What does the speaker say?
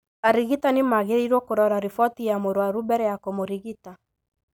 Arigitani magĩrĩirũo kũrora riboti ya mũruaru mbere ya kũmũrigita.